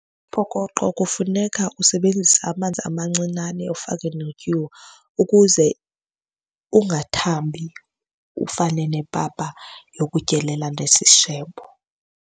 Umphokoqo kufuneka usebenzise amanzi amancinane ufake netyuwa, ukuze ungathambi ufane nepapa yokutyelela nesishebo.